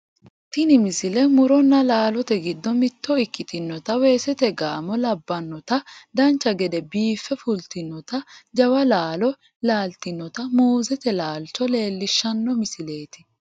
tini misile muronna laalote giddo mitto ikkitinota weesete gaamo labbannota dancha gede biiffe fultinotanna jawa laalo laaltinota muuzete laalcho leellishshanno misileeti